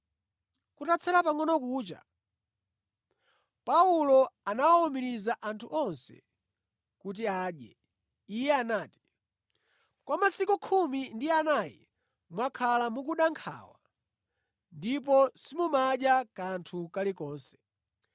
Kutatsala pangʼono kucha, Paulo anawawumiriza anthu onse kuti adye. Iye anati, “Kwa masiku khumi ndi anayi mwakhala mukuda nkhawa ndipo simumadya kanthu kalikonse.